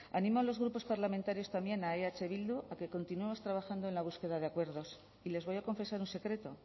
animo a los grupos parlamentarios también a eh bildu a que continuemos trabajando en la búsqueda de acuerdos y les voy a confesar un secreto